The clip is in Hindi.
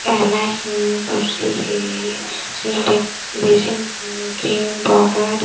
आईना हे कुर्सी हे क्रीम पाउडर--